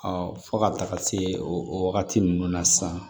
fo ka taga se o wagati ninnu na sisan